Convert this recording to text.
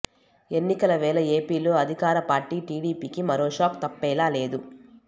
ఎన్నికల వేళ ఏపీలో అధికార పార్టీ టీడీపీకి మరో షాక్ తప్పేలా లేదు